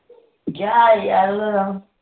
ਜਾ ਯਾਰ ਉਹਦਾ